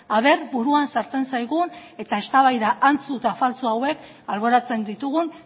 a ber buruan sartzen zaigun eta eztabaida antzu eta faltsu hauek alboratzen ditugun